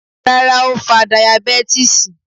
Rárá ó fa dayabẹ́tísì.